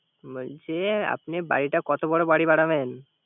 বলছি, আপনি বাড়িটা কত বড় বাড়ি বানাবেন?